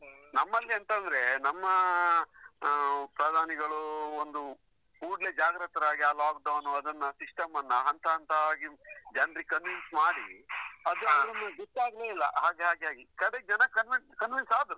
ಹ್ಮ್, ನಮ್ಮಲ್ಲಿ ಎಂತ ಅಂದ್ರೆ, ನಮ್ಮ ಪ್ರಧಾನಿಗಳು ಅಹ್ ಒಂದು ಕೂಡ್ಲೆ ಜಾಗ್ರತರಾಗಿ, ಆ lockdown ಅದನ್ನ system ಅನ್ನ ಹಂತ ಹಂತವಾಗಿ ಜನ್ರಿಗೆ convince ಮಾಡಿ ಅದು ಒಂದು ಬಿಟ್ ಹಾಕ್ಲೆ ಇಲ್ಲ ಹಾಗಾಗಿ ಕಡೆಗೆ ಜನರು convince convince ಆದ್ರು.